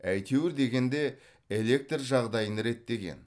әйтеуір дегенде электр жағдайын реттеген